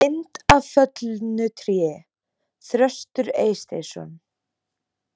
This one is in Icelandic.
Mynd af föllnu tré: Þröstur Eysteinsson.